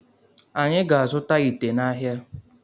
Anyị ga azụta ite n'ahia